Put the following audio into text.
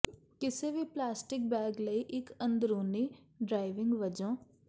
ਕਿਸੇ ਵੀ plastic bag ਲਈ ਇੱਕ ਅੰਦਰੂਨੀ ਡ੍ਰਾਇਵਿੰਗ ਵਜੋਂ